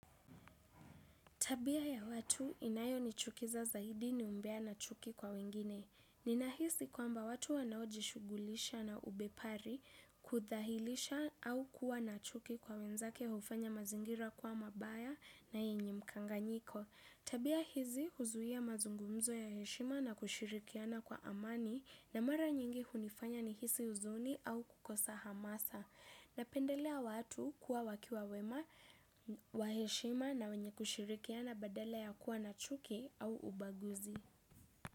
Tabia ya watu inayo ni chukiza zaidi ni umbea na chuki kwa wengine. Ninahisi kwamba watu wanao jishughulisha na ubepari kudhalilisha au kuwa na chuki kwa wenzake hufanya mazingira kwa mabaya na yenye mkanganyiko. Tabia hizi huzuia mazungumzo ya heshima na kushirikiana kwa amani na mara nyingi hunifanya nihisi uzuni au kukosa hamasa. Napendelea watu kuwa wakiwa wema, waheshima na wenye kushirikiana badala ya kuwa na chuki au ubaguzi.